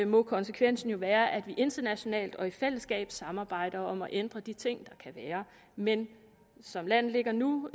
må konsekvensen jo være at vi internationalt og i fællesskab samarbejder om at ændre de ting der kan være men som landet ligger nu